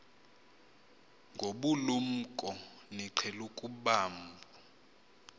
ngobulumko niqhel ukubamb